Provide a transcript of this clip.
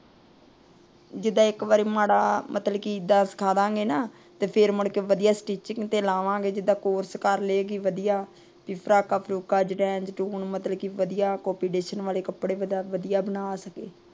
ਜੀਦਾ ਇੱਕ ਵਾਰੀ ਮਾੜਾ ਵੱਲ ਸਿੱਖਾਂ ਦਿਆਂਗੇ ਨਾ। ਫਿਰ ਮੁੜ ਕੇ ਵਧੀਆ ਸਟੀਚਿੰਗ ਤੇ ਲਾਵਾਂਗੇ। ਜੀਦਾ ਕੋਰਸ ਕਰ ਲੇਗੀ ਵਧੀਆ। ਫਰਾਕਾਂ ਫ਼ਾਰੂਕ਼ ਵਾਲੇ ਕੱਪੜੇ ਵਧੀਆ ਬਣਾ ਸਕੇ।